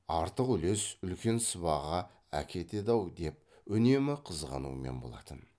артық үлес үлкен сыбаға әкетеді ау деп үнемі қызғанумен болатын